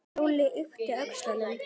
Lúlli yppti öxlum.